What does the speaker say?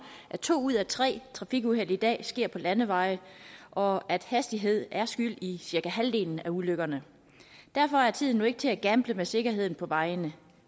at to ud af tre trafikuheld i dag sker på landeveje og at hastighed er skyld i cirka halvdelen af ulykkerne derfor er tiden nu ikke til at gamble med sikkerheden på vejene